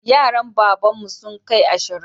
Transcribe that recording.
Yaran babanmu sun kai ashirin